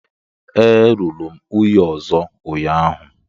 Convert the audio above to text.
Ee, lụrụ m nwunye ọzọ ụnyahụ